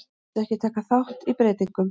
Vildu ekki taka þátt í breytingum